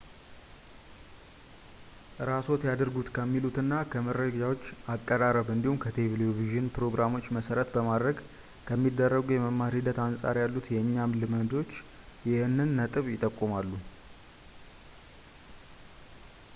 እራስዎት ያድርጉት ከሚሉትና ከመረጃዎች አቀራረብ እንዲሁም ከቴሌቭዥን ፕሮግራሞች መሰረት በማድረግ ከሚደረጉ የመማር ሂደት አንፃር ያሉት የእኛም ልምዶችም ይህንን ነጥብ ይጠቁማሉ